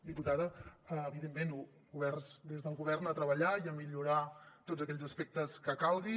diputada evidentment oberts des del govern a treballar i a millorar tots aquells aspectes que calguin